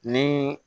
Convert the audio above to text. Ni